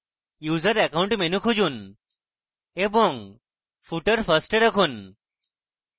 user account menu খুঁজুন এবং footer first এ রাখুন